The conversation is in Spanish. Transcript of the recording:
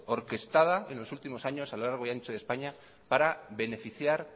orquestada en los últimos años a lo largo y ancho de españa para beneficiar